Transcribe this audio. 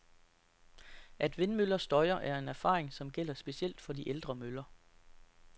At vindmøller støjer, er en erfaring, som gælder specielt for de ældre møller.